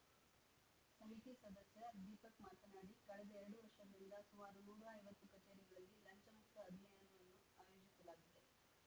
ಸಮಿತಿ ಸದಸ್ಯ ದೀಪಕ್‌ ಮಾತನಾಡಿ ಕಳೆದ ಎರಡು ವರ್ಷಗಳಿಂದ ಸುಮಾರು ನೂರ ಐವತ್ತು ಕಚೇರಿಗಳಲ್ಲಿ ಲಂಚಮುಕ್ತ ಅಭಿಯಾನವನ್ನು ಆಯೋಜಿಸಲಾಗಿದೆ